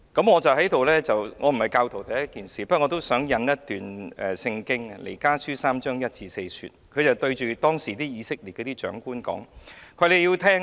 我首先指出我並非教徒，但我想引用一段聖經，經文是彌迦書第三章1至4節，講述彌迦對以色列的長官說："你們要聽！